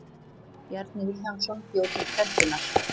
Bjarni Vilhjálmsson bjó til prentunar.